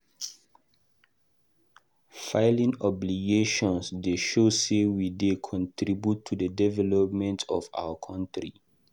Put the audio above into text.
Filing obligations dey show say we dey contribute to the development of our country.